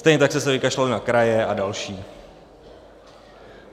Stejně tak jste se vykašlali na kraje a další.